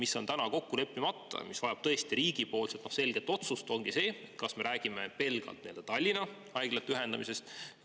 Aga praeguseks ongi kokku leppimata see, mis vajab tõesti riigi selget otsust, nimelt, kas me räägime pelgalt Tallinna haiglate ühendamisest.